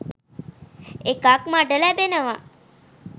එකක් මට ලැබෙනවා